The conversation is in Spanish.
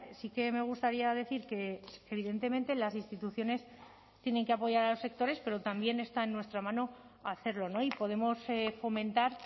sí que me gustaría decir que evidentemente las instituciones tienen que apoyar a los sectores pero también está en nuestra mano hacerlo y podemos fomentar